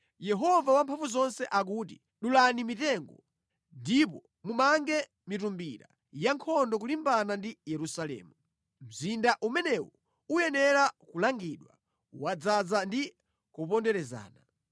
Yehova Wamphamvuzonse akuti, “Dulani mitengo ndipo mumange mitumbira yankhondo kulimbana ndi Yerusalemu. Mzinda umenewu uyenera kulangidwa; wadzaza ndi kuponderezana.